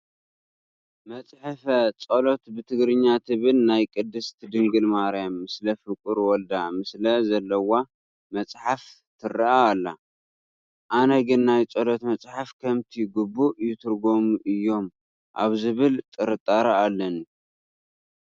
መጽሐፈ ጸሎት ብትግርኛ ትብል ናይ ቅድስት ድንግል ማርያም ምስለ ፍቁር ወልዳ ምስሊ ዘለዋ መፅሓፍ ትርአ ኣላ፡፡ ኣነ ግን ናይ ፀሎት መፃሕፍቲ ከምቲ ግቡእ ይትርጐሙ እዮም ኣብ ዝብል ጥርጣረ ኣለኒ፡፡